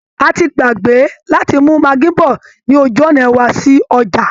A ti gbàgbé láti mú maggi bọ̀ ní ojú ọ̀nà wa sí ọjà